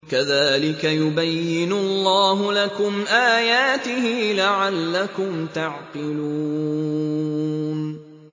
كَذَٰلِكَ يُبَيِّنُ اللَّهُ لَكُمْ آيَاتِهِ لَعَلَّكُمْ تَعْقِلُونَ